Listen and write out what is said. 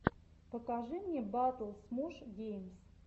покажи мне батл смош геймс